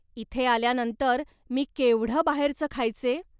इथे आल्यानंतर मी केवढं बाहेरचं खायचे.